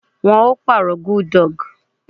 Wọn ó pàrọ̀ gudug